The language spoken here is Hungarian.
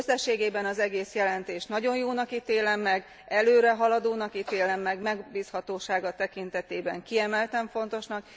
Összességében az egész jelentést nagyon jónak ítélem meg, előrehaladónak ítélem meg, megbízhatósága tekintetében kiemelten fontosnak.